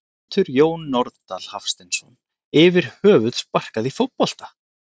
Getur Jón Norðdal Hafsteinsson yfir höfuð sparkað í fótbolta?